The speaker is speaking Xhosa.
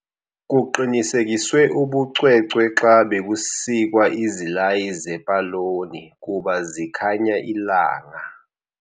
Kuqinisekiswe ubucwecwe xa bekusikwa izilayi zepoloni kuba zikhanya ilanga.